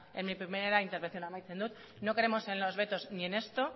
en mi primer intervención eta amaitzen dut no creemos en los vetos ni en esto